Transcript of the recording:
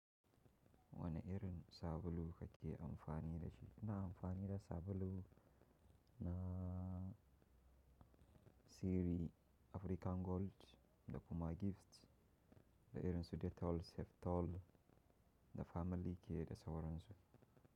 Wani irin sabulu kake amfani da shi? Ina amfani da sabulu na sirri African Gold da kuma Gift, da irin su Dettol, Safe Tol da Family ke da sauransu.